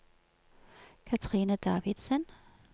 Cathrine Davidsen